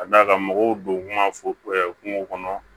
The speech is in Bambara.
Ka d'a kan mɔgɔw domaa f kungo kɔnɔ